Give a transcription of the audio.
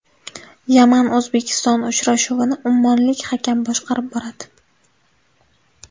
Yaman O‘zbekiston uchrashuvini ummonlik hakam boshqarib boradi.